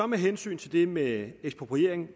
med hensyn til det med ekspropriering vil